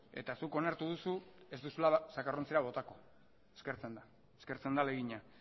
eta zuk onartu duzu ez duzula zakarrontzira botako eskertzen da eskertzen da ahalegina